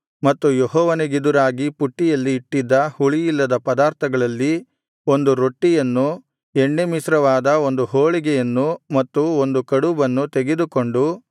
ಮತ್ತು ಯೆಹೋವನಿಗೆದುರಾಗಿ ಪುಟ್ಟಿಯಲ್ಲಿ ಇಟ್ಟಿದ್ದ ಹುಳಿಯಿಲ್ಲದ ಪದಾರ್ಥಗಳಲ್ಲಿ ಒಂದು ರೊಟ್ಟಿಯನ್ನು ಎಣ್ಣೆ ಮಿಶ್ರವಾದ ಒಂದು ಹೋಳಿಗೆಯನ್ನು ಮತ್ತು ಒಂದು ಕಡುಬನ್ನು ತೆಗೆದುಕೊಂಡು